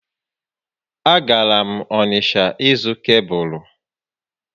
A gara m Onịsha ịzụ kebụlụ